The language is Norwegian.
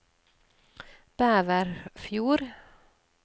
Bæverfjord